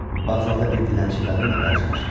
Vağzalda bir dilənçi qadınla qarşılaşdılar.